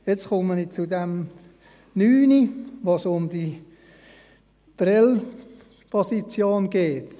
Nun komme ich zur Planungserklärung 9, wo es um die Prêles-Position geht.